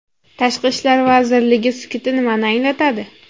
Tashqi ishlar vazirligi sukuti nimani anglatadi?